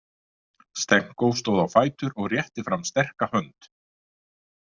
Stenko stóð á fætur og rétti fram sterka hönd.